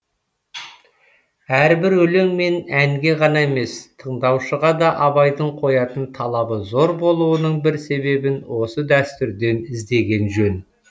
әрбір өлең мен әнге ғана емес тыңдаушыға да абайдың қоятын талабы зор болуының бір себебін осы дәстүрден іздеген жөн